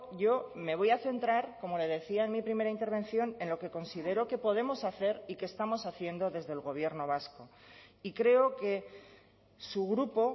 yo me voy a centrar como le decía en mi primera intervención en lo que considero que podemos hacer y que estamos haciendo desde el gobierno vasco y creo que su grupo